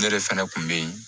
Ne de fana kun be yen